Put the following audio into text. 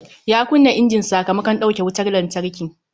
Ya kunna injin sakamakon dauke wutar lantarki